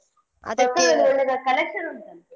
collection ಉಂಟಂತೆ.